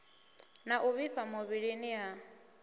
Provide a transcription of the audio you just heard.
na u vhifha muvhilini ha